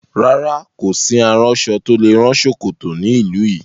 Rárá, kò sí aránṣọ tó lè rán ṣòkòtò ní ìlú yìí.